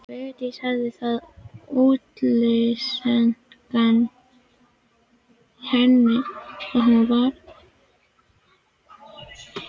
Vigdís hafði það útlitseinkenni að hún var áberandi freknótt.